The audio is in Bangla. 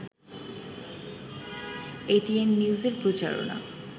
এটিএন নিউজের প্রচারণার